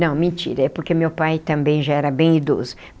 Não, mentira, é porque meu pai também já era bem idoso.